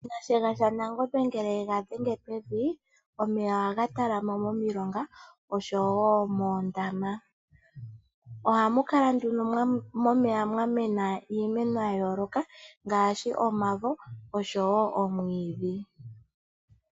Nashiyenga shanangombe ngele yega dhenge pevi omeya ohaga talama momilonga osho woo moondama. Ohamu kala nduno momeya mwamena iimeno yayooloka ngaashi omavo osho woo omwiidhi.